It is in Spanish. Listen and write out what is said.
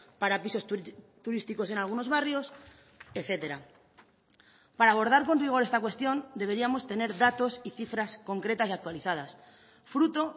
para pisos turísticos en algunos barrios etcétera para abordar con rigor esta cuestión deberíamos tener datos y cifras concretas y actualizadas fruto